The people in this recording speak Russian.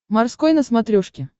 морской на смотрешке